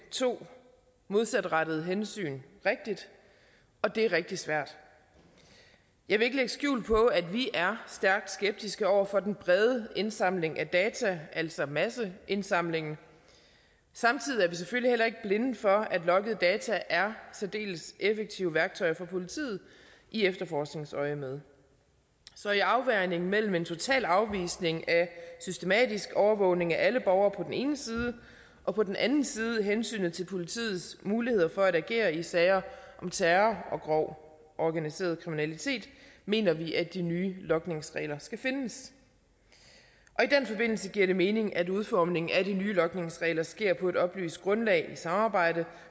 to modsatrettede hensyn rigtigt og det er rigtig svært jeg vil ikke lægge skjul på at vi er stærkt skeptiske over for den brede indsamling af data altså masseindsamlingen samtidig er vi selvfølgelig heller ikke blinde for at logningsdata er særdeles effektivt værktøj for politiet i efterforskningsøjemed så i afvejningen mellem en total afvisning af systematisk overvågning af alle borgere på den ene side og på den anden side hensynet til politiets muligheder for at agere i sager om terror og grov organiseret kriminalitet mener vi at de nye logningsregler skal findes i den forbindelse giver det mening at udformningen af de nye logningsregler sker på et oplyst grundlag i samarbejde